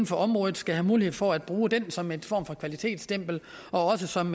for området skal have mulighed for at bruge den som en form for kvalitetsstempel og også som